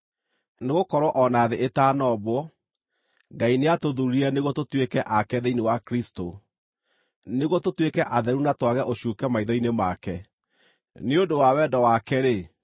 Nĩgũkorwo o na thĩ ĩtanombwo, Ngai nĩatũthuurire nĩguo tũtuĩke ake thĩinĩ wa Kristũ, nĩguo tũtuĩke atheru na twage ũcuuke maitho-inĩ make. Nĩ ũndũ wa wendo wake-rĩ,